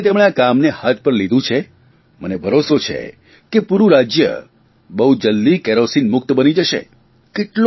જે રીતે તેમણે આ કામને હાથ પર લીધું થે મને ભરોસો છે કે પૂરૂં રાજય બહુ જલદી કેરોસીન મુક્ત બની જશે